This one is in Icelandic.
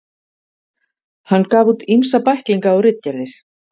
Hann gaf út ýmsa bæklinga og ritgerðir.